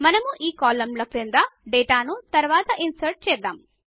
మనము ఈ కాలమ్ ల క్రింద డేటాను తరువాత ఇన్సర్ట్ చేద్దాము